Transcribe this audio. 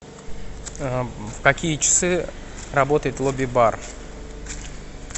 в какие часы работает лобби бар